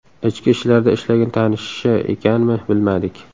Ichki ishlarda ishlagan tanishi ekanmi, bilmadik.